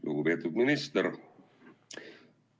Lugupeetud minister!